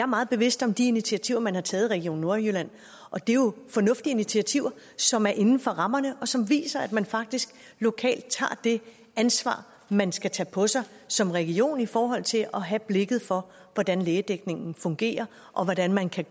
meget bevidst om de initiativer man har taget i region nordjylland og det er jo fornuftige initiativer som er inden for rammerne og som viser at man faktisk lokalt tager det ansvar man skal på sig som region i forhold til at have blik for hvordan lægedækningen fungerer og hvordan man kan